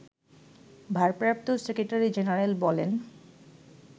ভারপ্রাপ্ত secretary general বলেন